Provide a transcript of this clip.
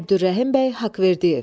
Əbdürrəhim bəy Haqverdiyev.